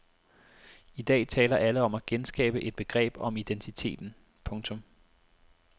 I dag taler alle om at genskabe et begreb om identiteten. punktum